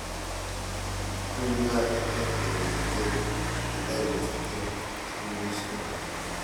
Tuguk ab EdTech che kitareti eng' chikilishet